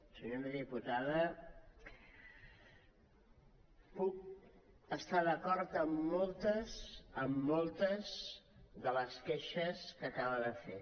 senyora diputada puc estar d’acord amb moltes amb moltes de les queixes que acaba de fer